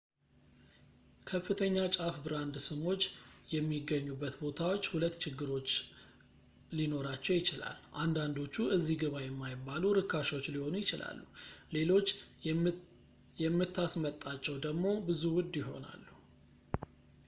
ከፍተኛ ጫፍ ብራንድ ስሞች የሚገኙበት ቦታዎች ሁለት ችግሮች ለኖራቸው ይችላል አንዳንዶቹ እዚ ግባ የማይባሉ ርካሾች ሊሆኑ ይችላሉ ሌሎች የምታስመጣቸው ደሞ ብዙ ውድ ይሆናሉ